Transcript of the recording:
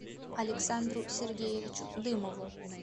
александру сергеевичу дымову